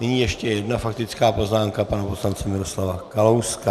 Nyní ještě jedna faktická poznámka pana poslance Miroslava Kalouska.